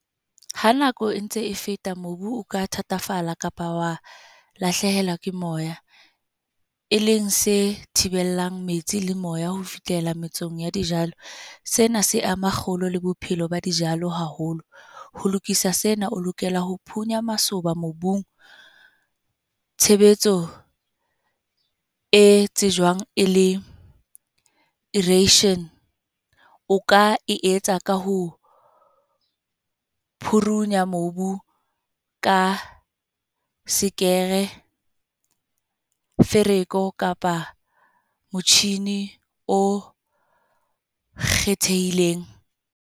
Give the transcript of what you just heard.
Ha nako e ntse e feta. Mobu o ka thatafala kapa wa lahlehelwa ke moya. E leng se thibelang metsi le moya ho fihlela metsong ya dijalo. Sena se ama kgolo le bophelo ba dijalo haholo. Ho lokisa sena, o lokela ho phunya masoba mobung. Tshebetso e tsejwang e le irrigation, o ka e etsa ka ho phurunya mobu ka sekere, fereko kapa motjhini o kgethehileng.